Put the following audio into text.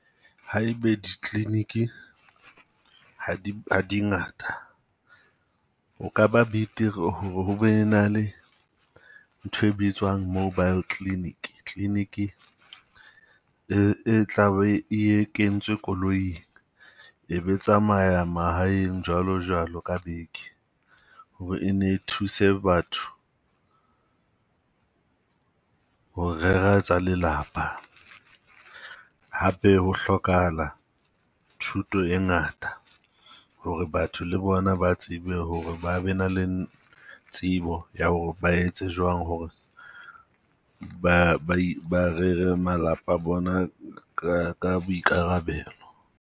Ha e be ditleleniki ha di ha di ngata, o kaba betere hore ho be na le ntho e bitswang mobile clinic. Tleliniki e e tlabe e kentswe koloing e be tsamaya mahaeng jwalo jwalo ka beke hore e nne e thuse batho ho rera tsa lelapa. Hape, ho hlokahala thuto e ngata ho re batho le bona ba tsebe hore ba be na le tsebo ya ho re ba etse jwang hore ba ba ba rere malapa a bona ka ka boikarabelo.